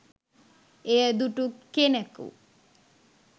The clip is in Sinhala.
එය දුටු කෙනකු